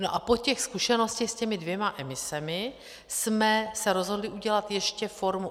No a po těch zkušenostech s těmi dvěma emisemi jsme se rozhodli udělat ještě formu...